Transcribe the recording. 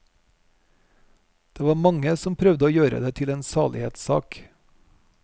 Det var mange som prøvde å gjøre det til en salighetssak.